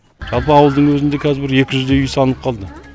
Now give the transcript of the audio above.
жалпы ауылдың өзінде қазір бір екі жүздей үй салынып қалды